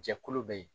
Jɛkulu bɛ yen